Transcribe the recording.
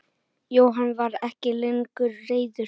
Jóhann var ekki lengur reiður.